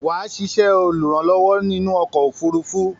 Wà á sisẹ́ olùrànlówó inú okò òfurufú